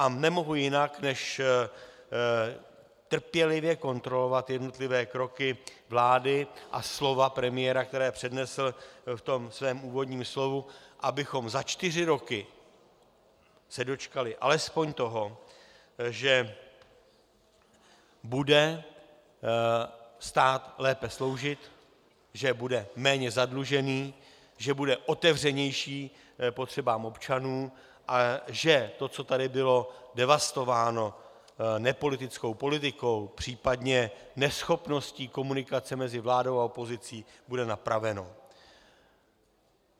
A nemohu jinak, než trpělivě kontrolovat jednotlivé kroky vlády a slova premiéra, která přednesl v tom svém úvodním slovu, abychom za čtyři roky se dočkali alespoň toho, že bude stát lépe sloužit, že bude méně zadlužený, že bude otevřenější potřebám občanů a že to, co tady bylo devastováno nepolitickou politikou, případně neschopností komunikace mezi vládou a opozicí, bude napraveno.